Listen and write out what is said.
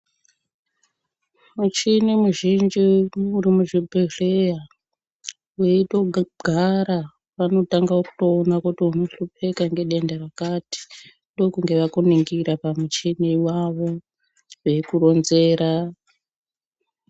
Muchini muzhinji uri muzvibhedhleya veitogara vanotange kutoona kuti unohlupika nedenda rakati. Ndokunge vakuningira pamuchini vavo veikoronzera.